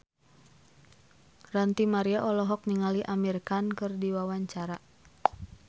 Ranty Maria olohok ningali Amir Khan keur diwawancara